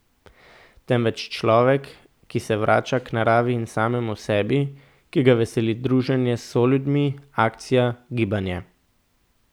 Temveč človek, ki se vrača k naravi in samemu sebi, ki ga veseli druženje s soljudmi, akcija, gibanje.